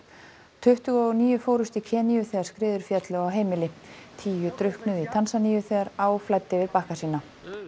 tuttugu og níu fórust í þegar skriður féllu á heimili tíu drukknuðu í Tanzaníu þegar á flæddi yfir bakka sína